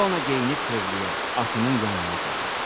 İona geyinib tövləyə, atının yanına gedir.